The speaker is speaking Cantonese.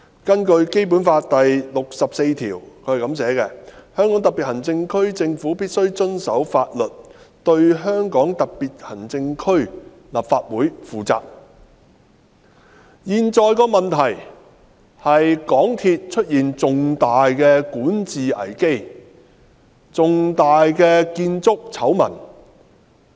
根據《基本法》第六十四條："香港特別行政區政府必須遵守法律，對香港特別行政區立法會負責......當前的問題是香港鐵路有限公司出現重大管治危機和重大的建築醜聞。